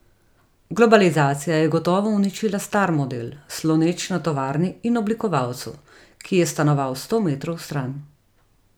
Globalizacija je gotovo uničila star model, sloneč na tovarni in oblikovalcu, ki je stanoval sto metrov stran.